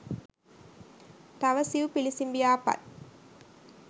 තව සිවු පිළිසිඹියා පත්